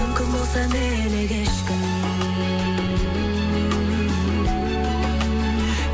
мүмкін болса мені кешкін